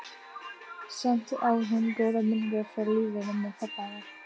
Samt á hún góðar minningar frá lífinu með pabba hennar.